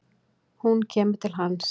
Hún kemur til hans.